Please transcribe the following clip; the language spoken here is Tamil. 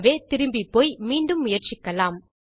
ஆகவே திரும்பிப்போய் மீண்டும் முயற்சிக்கலாம்